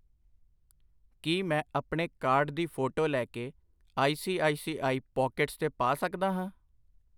ਕਿ ਮੈਂ ਆਪਣੇ ਕਾਰਡ ਦੀ ਫੋਟੋ ਲੈ ਕੇ I C I C I Pockets ਤੇ ਪਾ ਸਕਦਾ ਹਾਂ ?